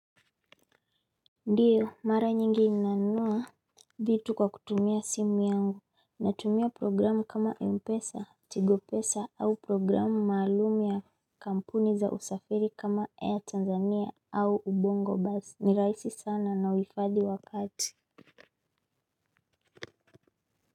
Ndiyo mara nyingi inaniuma vitu kwa kutumia simu yangu natumia programu kama Mpesa, Tigopesa au programu maalum ya kampuni za usafiri kama Air Tanzania au Ubongo Buzz ni rahisi sana na huhifadhi wakati.